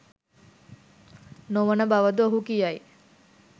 නොවන බව ද ඔහු කියයි.